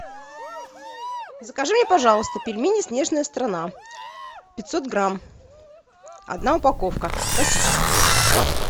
закажи мне пожалуйста пельмени снежная страна пятьсот грамм одна упаковка классические